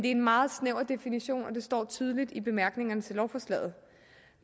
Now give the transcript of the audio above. en meget snæver definition og det står tydeligt i bemærkningerne til lovforslaget